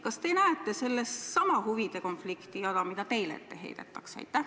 Kas te näete selles samasugust huvide konflikti, mida teile ette heidetakse?